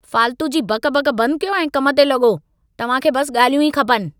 फाल्तू जी बक़-बक़ बंद कयो ऐं कम ते लॻो! तव्हां खे बस ॻाल्हियूं ई खपनि।